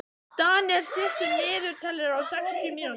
Daniel, stilltu niðurteljara á sextíu mínútur.